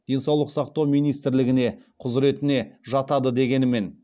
денсаулық сақтау министрлігіне құзыретіне жатады дегенімен